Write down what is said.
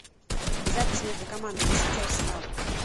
запись между командами сити арсенал